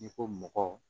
N'i ko mɔgɔ